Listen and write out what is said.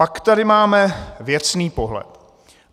Pak tady máme věcný pohled.